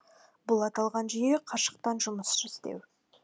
бұл аталған жүйе қашықтан жұмыс істеу